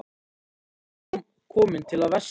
Enginn virtist kominn til að versla.